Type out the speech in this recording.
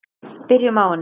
Byrjum á henni.